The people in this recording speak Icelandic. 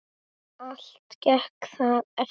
Allt gekk það eftir.